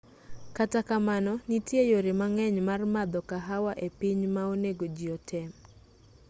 kata kamano nitie yore mang'eny mar madho kahawa e piny ma onego jii otem